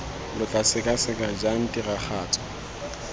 lo tla sekaseka jang tiragatso